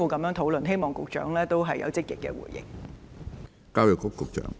我希望局長能有積極的回應。